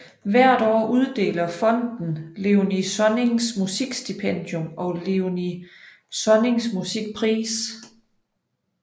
Hvert år uddeler fonden Léonie Sonnings Musikstipendium og Léonie Sonnings Musikpris